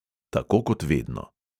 Tako kot vedno.